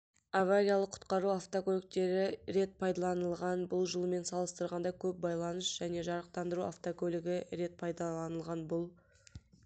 авариялық құтқару автокөліктері рет пайдаланылған бұл жылмен салыстырғанда көп байланыс және жарықтандыру автокөлігі рет пайдаланылған бұл